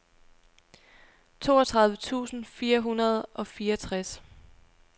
toogtredive tusind fire hundrede og fireogtres